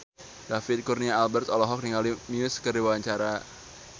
David Kurnia Albert olohok ningali Muse keur diwawancara